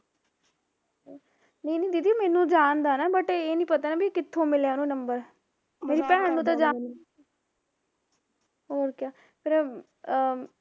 ਨਹੀਂ ਨਹੀਂ ਦੀਦੀ ਮੈਨੂੰ ਜਾਣਦਾ ਐ ਨਾ but ਇਹ ਨੀ ਪਤਾ ਵੀ ਕਿੱਥੋਂ ਮਿਲਿਆ ਉਹਨੂੰ ਨੰਬਰ ਹੋਰ ਕਿਆ ਫਿਰ ਅਮ